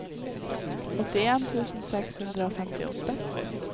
åttien tusen seks hundre og femtiåtte